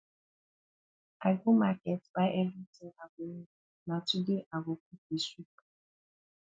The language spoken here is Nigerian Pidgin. i go market buy everything i go need na today i go cook the soup